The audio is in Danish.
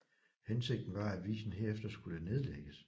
Hensigten var at avisen herefter skulle nedlægges